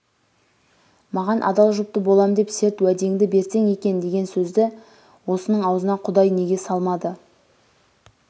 маған адал жұпты болам деп серт уәдеңді берсең екен деген сөзді осының ауызына құдай неге салмады